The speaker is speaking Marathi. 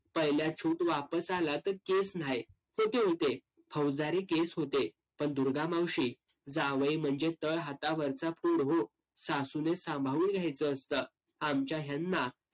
पहिल्या वापस आला तर case न्हाय. होते होते. फौजदारी case होते. पण दुर्गामावशी जावई म्हणजे तळ हातावरचा फोड हो. सासूने सांभाळून घ्यायचं असतं. आमच्या हेंना